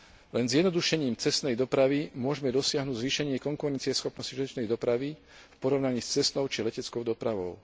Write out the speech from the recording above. Len zjednodušením cestnej dopravy môžeme dosiahnuť zvýšenie konkurencieschopnosti železničnej dopravy v porovnaní s cestnou či leteckou dopravou.